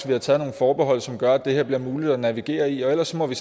vi har taget nogle forbehold som gør at det her bliver muligt at navigere i ellers må vi